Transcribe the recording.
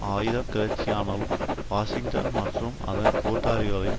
ஆயுத கிளர்ச்சியானாலும் வாஷிங்டன் மற்றும் அதன் கூட்டாளிகளின்